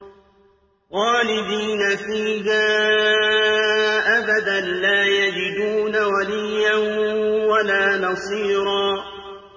خَالِدِينَ فِيهَا أَبَدًا ۖ لَّا يَجِدُونَ وَلِيًّا وَلَا نَصِيرًا